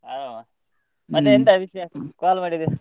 ಹಾ ಮತ್ತೆಂತ ವಿಷಯ call ಮಾಡಿದ್ದಿ.